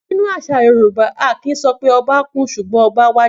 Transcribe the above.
Nínú àsà Yorùbá, a kì í so pé obá kú sùgbón 'oba wàjà'